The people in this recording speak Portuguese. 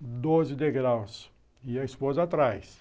doze degraus, e a esposa atrás.